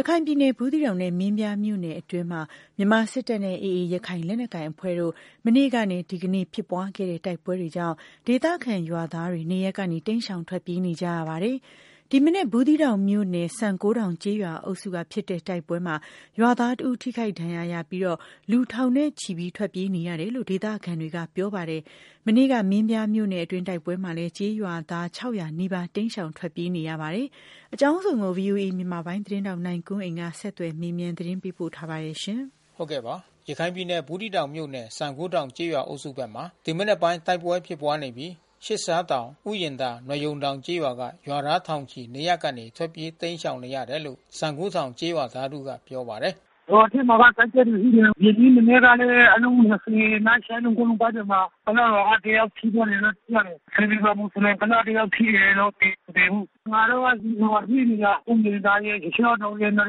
ရခိုင်ပြည်နယ် ၊ဘူးသီးတောင် ၊မင်းပြားမြို့နယ်အတွင်းမှာ မြန်မာစစ်တပ်နဲ့ AAရခိုင် လက်နက်ကိုင်အဖွဲ့ တို့ မနေ့ကနဲ့ ဒီကနေ့ဖြစ်ပွား ခဲ့တဲ့တိုက်ပွဲကြောင့် ဒေသခံရွာသားတွေ နေရပ်ကနေ တိမ်းရှောင် ထွက်ပြေးနေရပါတယ်။ ဒီမနက် ဘူးသီးတောင်မြို့နယ် ၊ စံကိုးထောင်ကျေးရွာအုပ်စု ဖြစ်တဲ့တိုက်ပွဲမှာ ရွာသားတဦးထိခိုက်ဒဏ်ရာရပြီး လူထောင်ချီ ထွက်ပြေးနေရတယ်လို့ဒေသခံတွေကပြောပါတယ်။ မနေ့က မင်းပြားမြို့နယ်အတွင်း တိုက်ပွဲမှာလဲ ကျေးရွာသား နီးပါး တိမ်းရှောင် ထွက်ပြေး နေရပါတယ်။ အကြောင်းစုံကို ဗွီအိုအေမြန်မာပိုင်းသတင်းထောက်နိုင်ကွန်းအိန်ကနေ ဆက်သွယ် မေးမြန်းသတင်းပေးပို့ထားပါတယ်။ ရခိုင်ပြည်နယ် ဘူးသီးတောင်မြို့နယ်၊ စံကိုးထောင်ကျေးရွာအုပ်စုဘက်မှာ ဒီမနက်ပိုင်း တိုက်ပွဲဖြစ်ပွားနေပြီး သျှစ်သျှားတောင် ၊ ဥယျဉ်သာ ၊ နွားရုံတောင်ကျေးရွာက ရွာသားထောင်ချီ နေရပ်ကနေ ထွက်ပြေးတိမ်းရှောင်နေရတယ်လို့ စံကိုးထောင်ကျေးရွာသား တဦးကပြောပါတယ်။ “ရွာထဲမှာက တိုက်ပွဲတွေရှိနေတယ်။ ဒီနေ့မနက်ကလဲအလုံး လောက် ရှစ်လုံး ကိုးလုံးပေါက်စဉ်မှာ ကုလားရွာက တယောက်ထိသွားတယ်လို့သိရတယ်။ ဆင်သေပြင်၊ မူဆလင် ကုလား တယောက်ထိတယ်။ သေတော့မသေဘူး။ ငါတို့ ကစေတီတောင်မှာ ရှိနေတာ။ ဥယာဉ်သာရယ် သျှစ်ရှားတောင်ရယ် နွား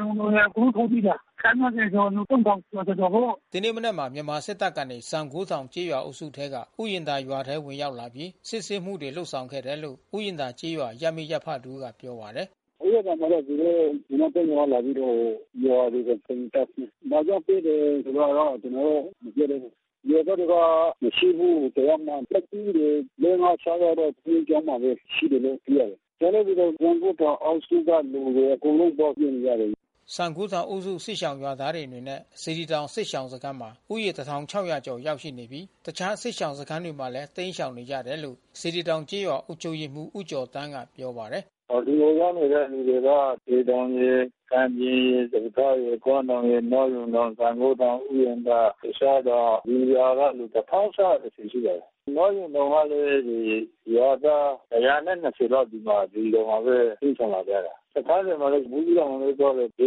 ရုံတောင်ရယ် အကုန်လုံးထွက်ပြေးတာ။ ခန့်မှန်းခြေ ဆိုလူ ကျော်ကျော်ပေါ့။” ဒီနေ့မနက်မှာ မြန်မာစစ်တပ်ကနေ စံကိုးထောင်ကျေးရွာအုပ်စုထဲက ဥယာဉ်သာရွာထဲ ဝင်ရောက်လာပြီး စစ်ဆေးမှု တွေ လုပ်ဆောင်ခဲ့တယ်လို့ ဥယာဉ်သာကျေးရွာ ရပ်မိရပ်ဖတဦးက ပြောပါတယ်။ “ဥယာဉ်သာမှာတော့ သူတို့ မြန်မာ့တပ်မတော်ကလာပြီးတော့ ရွာတွေကို တအိမ်တက်ဆင်း ဘာကြောင့် စစ်တယ်ဆိုတာ တော့ကျွန်တော်လဲ မပြောတတ်ဘူး။ ရွာသားတွေက မရှိဘူးတယောက်မှ။ သက်ကြီးတွေ လေး -ငါး- ခြောက်ယောက်တော့ ဘုန်းကြီးကျောင်းမှာဘဲ ရှိတယ်လို့သိရတယ်။ ကျန်တဲ့လူတော့ စံကိုးထောင်အုပ်စုကလူတွေ အကုန်လုံးသွားပြေးနေ ကြတယ်။” စံကိုးထောင်အုပ်စု စစ်ရှောင်ရွာသားတွေအနေနဲ့ စေတီတောင် စစ်ရှောင်စခန်းမှာ ကျော် ရောက်ရှိနေပြီး တခြား စစ်ရှောင်စခန်းတွေမှာလဲ တိမ်းရှောင်နေကြတယ်လို့ စေတီတောင်ကျေးရွာ အုပ်ချုပ်ရေးမှူး ဦးကျော်သန်းကပြောပါ တယ်။ “ဒီကိုရောက်နေတဲ့လူတွေက စေတောင်ရယ် ၊ကံပြင်ရယ်၊ စပါးထားရယ် ၊ကွမ်းတောင် ၊ နွားရုံတောင် စံကိုးထောင်၊ ဥယာဉ် သာသျှစ်ရှားတောင် ဒီရွာကလူတွေ ကျော်ကျော်လောက်ရှိပါတယ်။ နွားရုံတောင်ကလဲ ရွာသား ကျော် လောက် ဒီမှာစေတီတောင်မှာဘဲတိမ်းရှောင်လာကြတာ။ တခြားတွေမှာလဲ ဘူးသီးတောင်လဲသွားတယ်။ ဇေ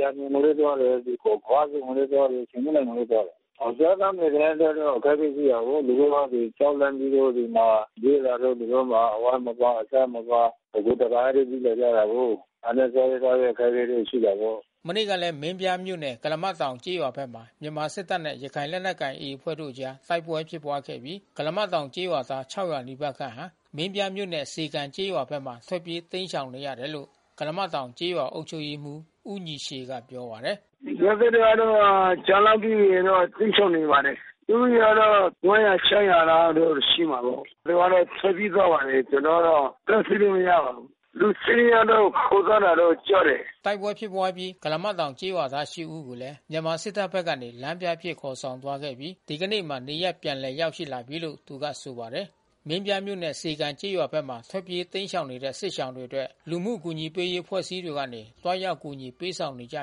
ယျာပြင်ကို လဲသွားတယ်။ ခွဆုံကိုလဲသွားတယ် ဆင်ခုန်းတိုင်ကိုလဲသွားတယ်။ စားသောက်နေထိုင်ရေးကအခက်ခဲရှိတာကိုး။ သူ တို့ က ကြောက်လန့်ပြီးတော့ ဒီမှာ ပြေးလာတော့သူတို့မှာ အဝတ်မပါ အစားမပါ တကိုယ်တည်း ပြေးလာကြ တာကိုး။ ဒါနဲ့စားရေးသောက်ရေးတော့ အခက်ခဲရှိတာပေါ့။” မနေ့ကလဲ မင်းပြားမြို့နယ် ၊ ကုလားမတောင်ကျေးရွာဖက်မှာ မြန်မာစစ်တပ်နဲ့ ရခိုင့်လက်နက်ကိုင် AAအဖွဲ့တို့အကြား တိုက်ပွဲဖြစ်ပွားခဲ့ပြီး ကုလားမတောင် ကျေးရွာသား နီးပါးခန့် ဟာ မင်းပြားမြို့နဲ့ စေကန်ကျေးရွာဖက်မှာ ထွက်ပြေး တိမ်းရှောင်နေရတယ်လို့ ကုလားမတောင် ကျေးရွာအုပ်ချုပ်ရေးမှူး ဦးညီရှည်က ပြောပါတယ်။ “ရွာသားတွေကတော့ ကြောက်လန့်ပြီး တိမ်းရှောင်နေပါတယ်။ လူဦးရေကတော့ လောက်တော့ ရှိမှာပေါ့။ သူကတော့ထွက်ပြေးသွားပါတယ်။ ကျွန်တော်ကတော့ တားဆီးလို့မရပါဘူး။ လူ ယောက်တော့ ခေါ်သွားတာတော့ ကြားတယ်။” တိုက်ပွဲဖြစ်ပွါးအပြီး ကုလားမတောင်ကျေးရွာသား ဦးကို မြန်မာစစ်တပ်ဖက်ကနေ လမ်းပြအဖြစ် ခေါ်ဆောင်သွား ခဲ့ပြီး ဒီကနေ့မှာ နေရပ်ပြန်လည်ရောက်ရှိလာပြီလို့ သူကဆိုပါတယ်။ မင်းပြားမြို့နဲ့စေကန်ကျေးရွာဖက်မှာ ထွက်ပြေးတိမ်းရှောင်နေတဲ့ စစ်ရှောင်တွေအတွက် လူမှုကူညီရေးအဖွဲ့အစည်း တွေကနေ သွားရောက် အကူညီပေးဆောင်နေကြ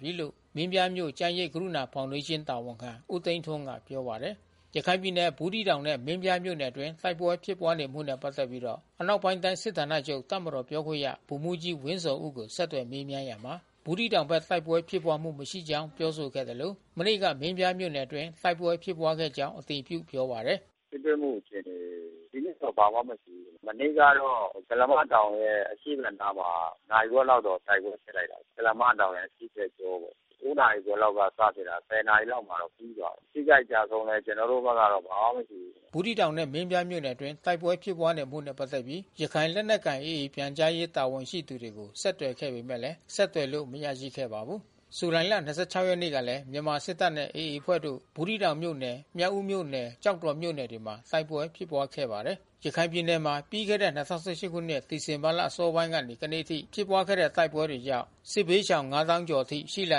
ပြီလို့ မင်းပြားမြို့၊ ကျန်းရိပ်ကရုဏာဖေါင်ဒေးရှင်း တာဝန်ခံ ဦးသိန်း ထွန်းကပြောပါတယ်။ ရခိုင်ပြည်နယ်၊ ဘူးသီးတောင်နဲ့မင်းပြားမြို့နယ်အတွင်း တိုက်ပွဲဖြစ်ပွားနေမှု နဲ့ပက်သက်ပြီးတော့ အနောက်ပိုင်းတိုင်း စစ်ဌာနချုပ် တပ်မတော်ပြောခွင့်ရ ဗိုလ်မှူးကြီး ဝင်းဇော်ဦးကို ဆက်သွယ်မေးမြန်းရာမှာ ဘူးသီးတောင်ဘက်တိုက်ပွဲ ဖြစ်ပွားမှု မရှိကြောင်းပြောဆိုခဲ့သလို မနေ့က မင်းပြားမြို့နယ် အတွင်းတိုက်ပွဲဖြစ်ပွားခဲ့ကြောင်း အတည်ပြုပြောပါတယ်။ “ထိတွေ့မှု အခြေအနေ ဒီနေ့တော့ဘာမှမရှိဘူး။ မနေ့ကတော့ ကုလားမတောင်ရဲ့အရှေ့ဖက်နားမှာ နာရီဝက်လောက် တော့ တိုက်ပွဲဖြစ်လိုက်တာ ကုလားမတောင်ရဲ့အရှေ့ဖက်ကြောပေါ့။ နာရီခွဲ လောက်ကစဖြစ်တာ နာရီ လောက်မှာပြီးသွားတယ်။ ထိခိုက်ကျဆုံးလဲ ကျွန်တော်တို့ဘက်က ဘာမှမရှိဘူး။” ဘူးသီးတောင်နဲ့မင်းပြားမြို့နယ်အတွင်းတိုက်ပွဲဖြစ်ပွါးနေတာနဲ့ပက်သက်ပြီး ရခိုင်လက်နက်ကိုင် AAပြန်ကြားရေး တာ ဝန်ရှိသူတွေကိုဆက်သွယ်ခဲ့ပေမယ့် ဆက်သွယ်လို့မရရှိခဲ့ပါဘူး။ ဇူလိုင်လ ၂၆ ရက်နေ့ကလည်း မြန်မာစစ်တပ်နဲ့ AA အဖွဲ့တို့ ဘူးသီးတောင်မြို့နယ်၊ မြောက်ဦးမြို့နယ်၊ ကျောက် တော်မြို့နယ်တွေမှာ တိုက်ပွဲဖြစ်ပွား ခဲ့ပါတယ်။ ရခိုင်ပြည်နယ်မှာ ပြီးခဲ့တဲ့ ခုနှစ် ဒီဇင်ဘာလအစောပိုင်းကနေ ဒီကနေ့အထိဖြစ်ပွား ခဲ့တဲ့တိုက်ပွဲတွေကြောင့် စစ်ဘေးရှောင် သောင်းကျော်အထိ ရှိလာ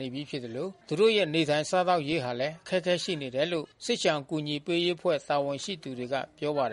နေပြီးဖြစ်သလို သူတို့ရဲ့နေထိုင်စားသောက်ရေးဟာလဲ အခက်ခဲရှိ နေတယ်လို့ စစ်ရှောင်အကူညီပေးရေး အဖွဲ့တာဝန်ရှိသူတွေက ပြောပါတယ်